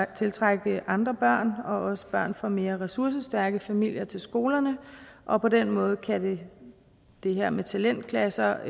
tiltrække andre børn og også børn fra mere ressourcestærke familier til skolerne og på den måde kan det her med talentklasser